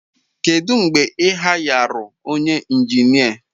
Kedu mgbe ị hayarụ onye injinia?